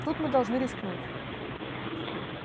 тут мы должны рискнуть